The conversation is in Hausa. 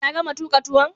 Ta gama tuka tuwon?